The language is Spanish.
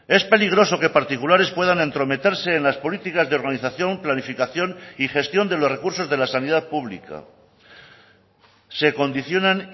es peligroso que particulares puedan entrometerse en las políticas de organización planificación y gestión de los recursos de la sanidad pública se condicionan